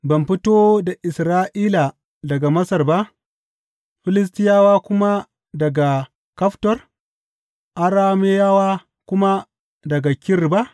Ban fito da Isra’ila daga Masar ba, Filistiyawa kuma daga Kaftor Arameyawa kuma daga Kir ba?